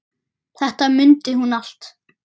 Þetta mundi hún allt.